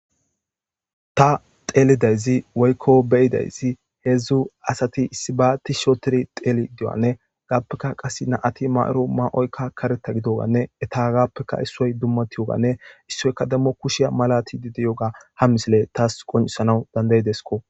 ta xeelidayzi woykko beyidaysi heedzdzu asati issibaati shootiri xeeli diwanne gaappeka qas naati ma7oro ma7oykka kareta gidoganne etagappeka issoy dummatiyoganne issoyka demmo kushiya malati didi yoga ha misile taas qonisana dandayidesko